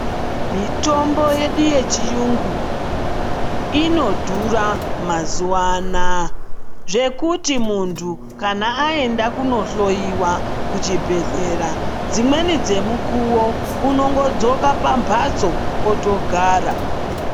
Mitombo yedu yechiyungu inodhura mazuwa anaya, zvekuti muntu kana aenda kuhloiwa kuchibhedhlera dzimweni dzemukowo unotodzoka pambatso otogara.